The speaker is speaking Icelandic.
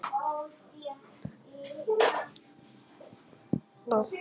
Það var miklu betra en Sigvaldi var búinn að segja.